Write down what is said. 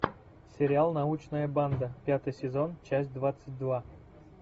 сериал научная банда пятый сезон часть двадцать два